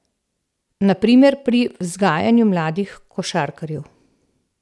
Na primer pri vzgajanju mladih košarkarjev.